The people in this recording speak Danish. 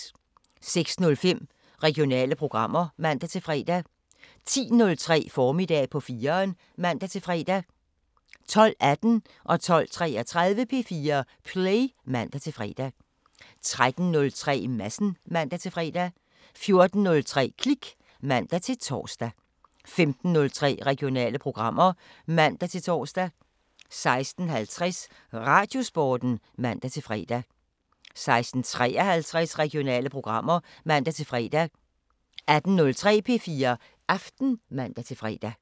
06:05: Regionale programmer (man-fre) 10:03: Formiddag på 4'eren (man-fre) 12:18: P4 Play (man-fre) 12:33: P4 Play (man-fre) 13:03: Madsen (man-fre) 14:03: Klik (man-tor) 15:03: Regionale programmer (man-tor) 16:50: Radiosporten (man-fre) 16:53: Regionale programmer (man-fre) 18:03: P4 Aften (man-fre)